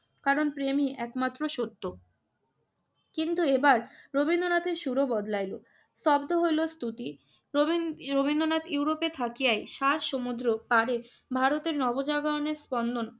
কারণ প্রেমই একমাত্র সত্য। কিন্তু এবার রবীন্দ্রনাথের সুরও বদলাইল, স্তব্ধ হইল স্তুতি। রবী~ রবীন্দ্রনাথ ইউরোপে থাকিয়াই সাত সমুদ্র পাড়ে ভারতের নবজাগরণের স্পন্দন